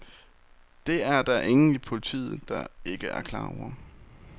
Det er der ingen i politiet, der ikke er klar over.